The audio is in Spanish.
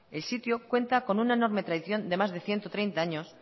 el sitio cuenta con una enorme tradición de más de ciento treinta años